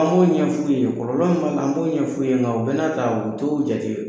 An b'o ɲɛf'u ye kɔlɔlɔ min b'a la, an b'o ɲɛf'u ɲɛna o bɛn'a ta u t'o jate.